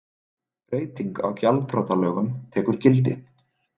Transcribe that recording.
Breyting á gjaldþrotalögum tekur gildi